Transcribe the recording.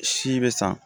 Si be san